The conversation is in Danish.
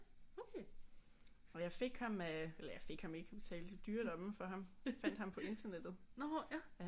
Og jeg fik ham af eller jeg fik ham ikke vi betalte i dyre domme for ham fandt ham på internettet